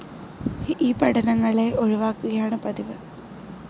ഇവ പഠനങ്ങളെ ഒഴിവാക്കുകയാണ് പതിവ്.